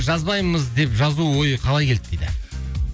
жазбаймыз де жазу ойы қалай келді дейді